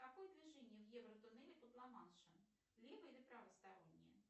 какое движение в евро тоннеле под ламаншем лево или правостороннее